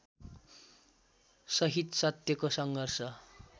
सहित सत्यको सङ्घर्ष